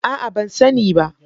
Aa ban sani bah.